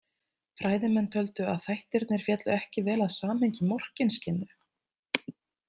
Fræðimenn töldu að þættirnir féllu ekki vel að samhengi Morkinskinnu.